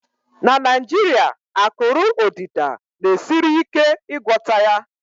na Naijiria, akụrụ odida na-esiri ike ịgwọta ya